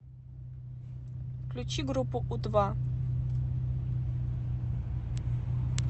включи группу у два